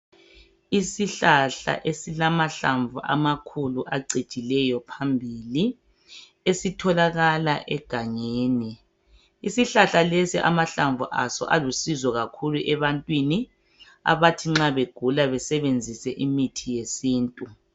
Isihlahla esilamahlamvu angcijileyo phambili esitholakala egangeni isihlahla lesi amahlamvu aso alusizo kakhulu ebantwini abathi nxa begula besebenzise imithi yesintu